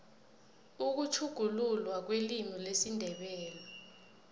ukutjhuguluka kwelimu lesindebele